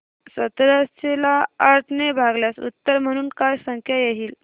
सतराशे ला आठ ने भागल्यास उत्तर म्हणून काय संख्या येईल